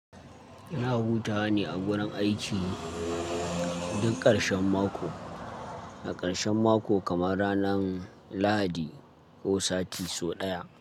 Ina hutawa ne a wurin aiki duk ƙarshen mako, na ƙarshen mako kamar ranan lahadi ko sati so ɗaya.